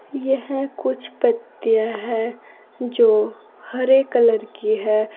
यह कुछ पत्तियां है जो हरे कलर की है।